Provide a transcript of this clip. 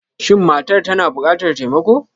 Shin matar tana bukatar taimako?